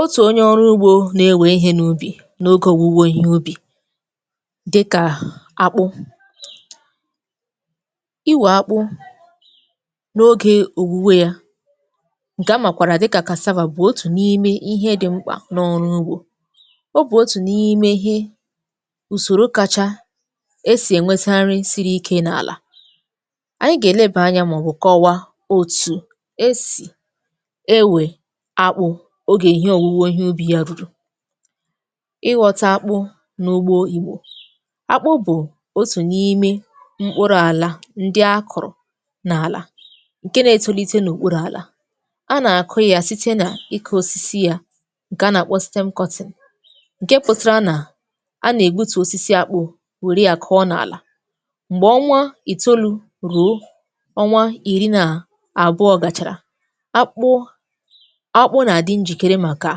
Otu onye ọrụ ugbo na-ewe ihe n’ubi n’oge owuwe ihe ubi dịka akpụ. Ịwe akpụ n’oge owuwe ya nke a makwaara dịka casava, bụ otu n’ime ihe dị mkpa n’ọrụ ugbo. Ọ bụ otu n’ime ihe usoro kacha e si enweta nri siri ike n’ala. Anyị ga-eleba anya ma ọ bụ kọwaa etu e si ewe akpụ oge owuwe ihe ubi ya ruru. Ịghọta akpụ n’ugbo Igbo; akpụ bụ otu n’ime mkpụrụ ala ndị akụrụ n’ala nke na-etolite n’okpuru ala. A na-akụ ya site n’ịkụ osisi ya nke a na-akpọ stem cutting; nke pụtara na, a na-egbutu osisi akpụ, were ya kụọ n’ala mgbe ọnwa itolu ruo ọnwa iri na abụọ gachara, akpụ akpụ na-adị njikere maka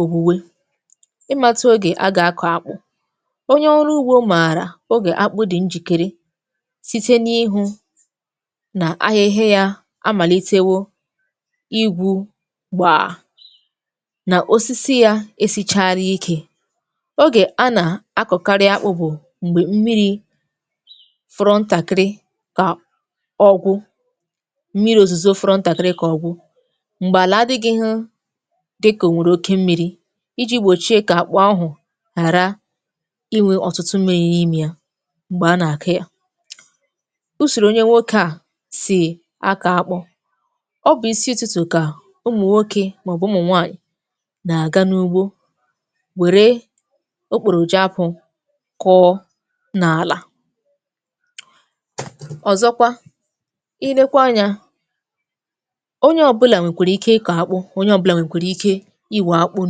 owuwe. Ịmatụ oge a ga-akọ akpụ: onye ọrụ ugbo maara oge akpụ dị njikere site n’ịhụ na ahịhịa ya amalitewo igbu gbaa na, osisi ya esichaala ike. Oge a na-akọkarị akpụ bụ mgbe mmiri fọrọ ntakịrị ka ọgwụ mmiri̇ ozuzo fọrọ ntakịrị ka ọ gwụ, mgbe ala adịghị dịka o nwere oke mmiri iji gbochie ka akpụ ahụ ghara inwe ọtụtụ mmiri n’ime ya mgbe a na-akụ ya. Usoro onye nwoke a si akọ akpụ: ọ bụ isi ụtụtụ ka ụmụ nwoke ma ọ bụ ụmụ nwanyị na-aga n’ugbo were okporo ji akpụ kụọ n’ala. Ọzọkwa ị lekwaa anya, onye ọbụla nwekwara ike ikọ akpụ, onye ọbụla nwekwara ike iwe akpụ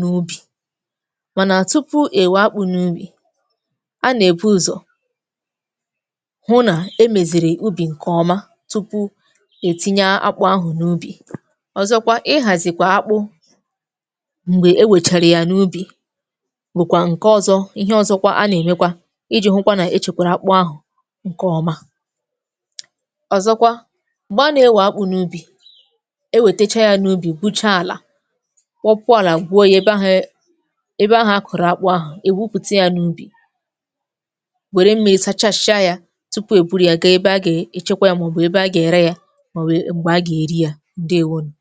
n’ubi. Mana tupu e wee akpụ n’ubi, a na-ebụ ụzọ hụ na e meziri ubi nke ọma tupu e tinye akpụ ahụ n’ubi. Ọzọkwa, ihazikwa akpụ mgbe e wechara ya n’ubi bụkwa nke ọzọ ihe ọzọkwa a na-emekwa iji hụkwa na echekwara akpụ ahụ nke ọma. Ọzọkwa, mgbe a na-ewe akpụ n’ubi, e wetechaa ya n’ubi gwuchaa ala, kpọpuo ala gwuo ya ebe ahụ a kọrọ akpụ ahụ, e gwupụta ya n’ubi, were mmiri sachasịa ya tupu e buru ya gaa ebe ha ga-echekwa ya ma ọ bụ ebe ha ga-ere ya, ma ọbụ mgbe ha ga-eri ya. Ndewo nu